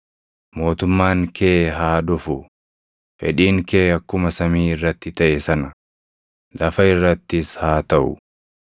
mootummaan kee haa dhufu; fedhiin kee akkuma samii irratti taʼe sana, lafa irrattis haa taʼu.